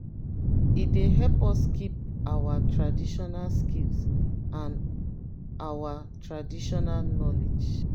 e dey help us keep our traditional skills and ouir traditional knowledge.